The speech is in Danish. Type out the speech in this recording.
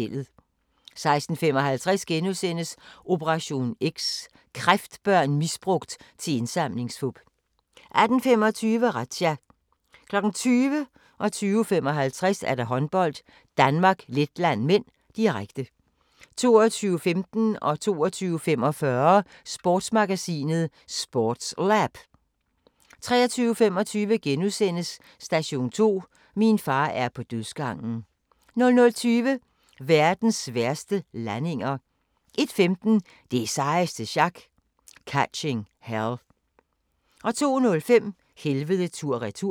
16:55: Operation X: Kræftbørn misbrugt til indsamlingsfup * 18:25: Razzia 20:00: Håndbold: Danmark-Letland (m), direkte 20:55: Håndbold: Danmark-Letland (m), direkte 22:15: Sportsmagasinet: SportsLab 22:45: Sportsmagasinet: SportsLab 23:25: Station 2: Min far er på dødsgangen * 00:20: Verdens værste landinger 01:15: Det sejeste sjak - Catching Hell 02:05: Helvede tur/retur